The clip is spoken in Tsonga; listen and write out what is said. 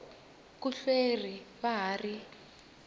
ku hleriw xa ha ri